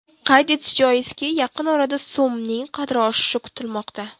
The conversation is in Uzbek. Qayd etish joizki, yaqin orada so‘mning qadri oshishi kutilmoqda.